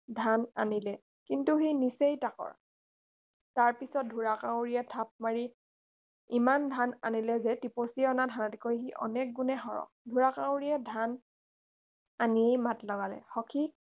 ধান আনিলে কিন্তু সি নিচেই তাকৰ তাৰ পিছত ঢোঁৰাকাউৰীয়ে থাপ মাৰি ইমান ধান আনিলে যে টিপচীয়ে অনা ধানতকৈ সি অনেক গুণে সৰহ ঢোঁৰাকাউৰীয়ে ধান আনিয়েই মাত লগালে সখি